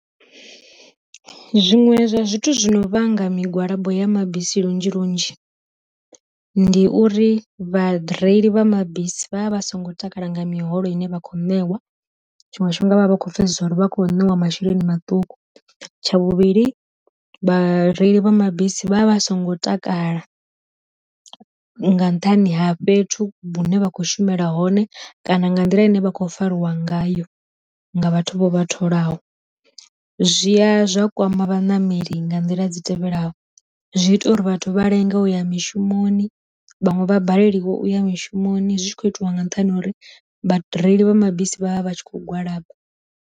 Zwiṅwe zwa zwithu zwino vhanga migwalabo ya mabisi lunzhi lunzhi, ndi uri vhareili vha mabisi vha vha vha songo takala nga miholo ine vha kho ṋewa tshiṅwe tshifhinga vhakho pfesesa uri vha khou ṋeiwa masheleni maṱuku, tsha vhuvhili vhareili vha mabisi vha vha songo takala nga nṱhani ha fhethu hune vha khou shumela hone kana nga nḓila ine vha khou fariwa ngayo nga vhathu vho vha tholaho. Zwia zwa kwama vhanameli nga nḓila dzi tevhelaho, zwi ita uri vhathu vha lenga uya mishumoni vhanwe vha balelwa uya mishumoni zwi tshi kho itiwa nga nṱhani ha uri vha reili vha mabisi vhavha vhatshi kho gwalaba.